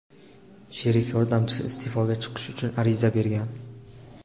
Sherif yordamchisi iste’foga chiqish uchun ariza bergan.